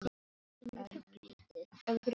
Við skulum bara leika úti.